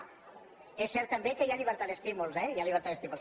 és cert també que hi ha llibertat d’estímuls eh hi ha llibertat d’estímuls